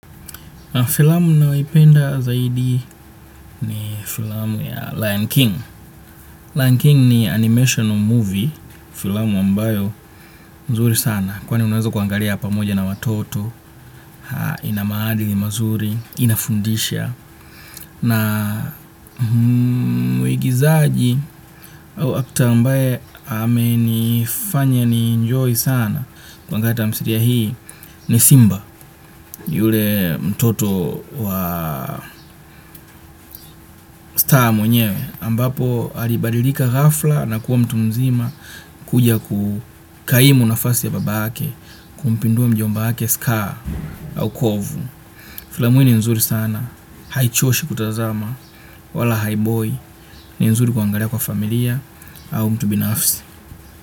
Filamu ninayoipenda zaidi ni filamu ya Lion King. Lion King ni animational movie, filamu ambayo nzuri sana. Kwani unaweza kuangalia pamoja na watoto, ina maali mazuri, inafundisha. Na mwigizaji au actor ambaye amenifanya ni enjoy sana wanga tamsiriya hii ni Simba, yule mtoto wa star mwenyewe. Ambapo alibadilika ghafla na kuwa mtu mzima kuja kukaimu nafasi ya baba yake. Kumpindua mjomba yake scar au kovu. Filamu hii ni nzuri sana. Haichoshi kutazama. Wala haiboi. Ni nzuri kuangalia kwa familia au mtu binafsi.